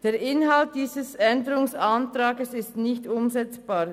Der Inhalt dieses Änderungsantrags ist nicht umsetzbar.